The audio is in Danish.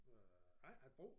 Øh jeg har ikke haft brug